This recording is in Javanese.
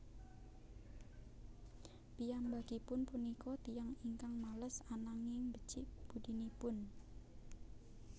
Piyambakipun punika tiyang ingkang males ananging becik budinipun